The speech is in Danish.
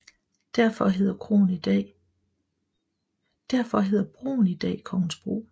Derfor hedder broen i dag Kongensbro